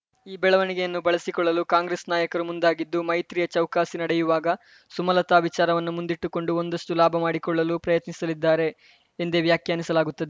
ಈ ಬೆಳವಣಿಗೆಯನ್ನು ಬಳಸಿಕೊಳ್ಳಲು ಕಾಂಗ್ರೆಸ್‌ ನಾಯಕರು ಮುಂದಾಗಿದ್ದು ಮೈತ್ರಿಯ ಚೌಕಾಸಿ ನಡೆಯುವಾಗ ಸುಮಲತಾ ವಿಚಾರವನ್ನು ಮುಂದಿಟ್ಟುಕೊಂಡು ಒಂದಷ್ಟುಲಾಭ ಮಾಡಿಕೊಳ್ಳಲು ಪ್ರಯತ್ನಿಸಲಿದ್ದಾರೆ ಎಂದೇ ವ್ಯಾಖ್ಯಾನಿಸಲಾಗುತ್ತದೆ